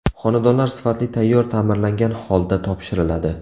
Xonadonlar sifatli tayyor ta’mirlangan holda topshiriladi.